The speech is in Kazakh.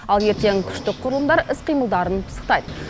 ал ертең күштік құрылымдар іс қимылдарын пысықтайды